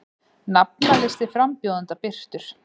Nafnalisti frambjóðenda birtur